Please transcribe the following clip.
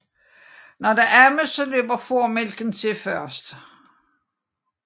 Når der ammes løber formælken til først